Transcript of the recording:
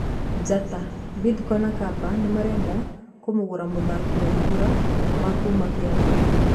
(Njata) Bidco na Kapa Nimarenda kũmũgũra mũthaki Waihũra wa kuuma Kiambu.